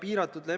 Jah, hea küll.